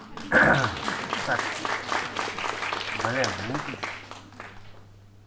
так блин никитич